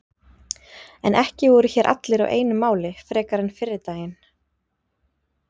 En ekki voru hér allir á einu máli frekar en fyrri daginn.